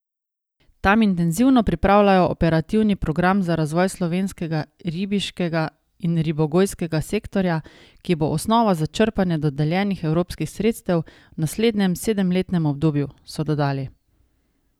Tam intenzivno pripravljajo operativni program za razvoj slovenskega ribiškega in ribogojskega sektorja, ki bo osnova za črpanje dodeljenih evropskih sredstev v naslednjem sedemletnem obdobju, so dodali.